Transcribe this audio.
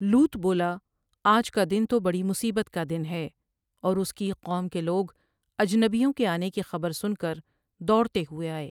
لوط بولا آج کا دن تو بڑی مصیبت کا دن ہے اور اس کی قوم کے لوگ اجنبیوں کے آنے کی خبر سن کر دوڑتے ہوئے آئے ۔